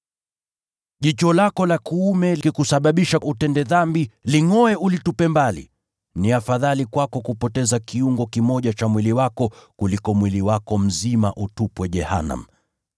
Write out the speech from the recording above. Jicho lako la kuume likikusababisha kutenda dhambi, lingʼoe ulitupe mbali. Ni afadhali kwako kupoteza kiungo kimoja cha mwili wako kuliko mwili wako mzima ukatupwa jehanamu.